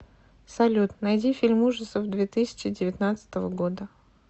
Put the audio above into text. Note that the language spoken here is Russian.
салют найди фильм ужасов две тысчи девятнадцатого года